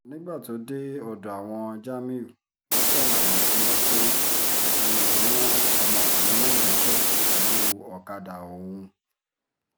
nígbà tó dé ọ̀dọ̀ àwọn jamiu ló ṣàlàyé fún wọn pé òun lòún rán ọmọkùnrin náà níṣẹ́ pẹ̀lú ọ̀kadà òun